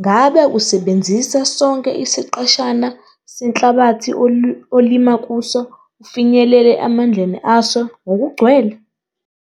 Ngabe usebenzisa sonke isiqeshana senhlabathi olima kuso ufinyelele emandleni aso ngokugcwele?